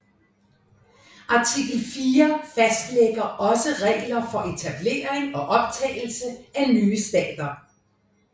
Artikel fire fastlægger også regler for etablering og optagelse af nye stater